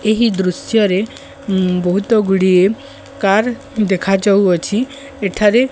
ଏହି ଦୃଶ୍ୟ ରେ ବହୁତ ଗୁଡିଏ କାର ଦେଖା ଯାଉଅଛି ଏଠାରେ --